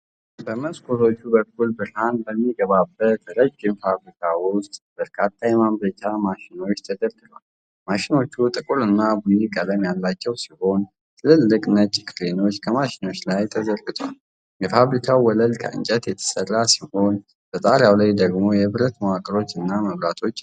በመስኮቶች በኩል ብርሃን በሚገባበት ረዥም ፋብሪካ ውስጥ በርካታ የማምረቻ ማሽኖች ተደርድረዋል። ማሽኖቹ ጥቁርና ቡኒ ቀለም ያላቸው ሲሆን፣ ትልልቅ ነጭ ክሮች ከማሽኖቹ ላይ ተዘርግተዋል። የፋብሪካው ወለል ከእንጨት የተሠራ ሲሆን፣ በጣሪያው ላይ ደግሞ የብረት መዋቅሮችና መብራቶች አሉ።